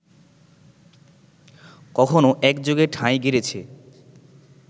কখনো একযোগে ঠাঁই গেড়েছে